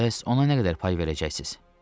Bəs ona nə qədər pay verəcəksiz?